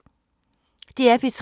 DR P3